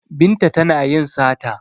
Binta tana yin sata